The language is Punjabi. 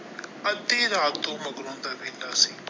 ਅੱਧੀ ਰਾਤ ਤੋਂ ਮਗਰੋ ਦਾ ਵੇਲਾ ਸੀ।